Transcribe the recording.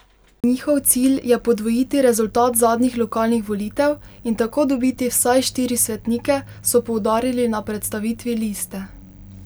Njihov cilj je podvojiti rezultat zadnjih lokalnih volitev in tako dobiti vsaj štiri svetnike, so poudarili na predstavitvi liste.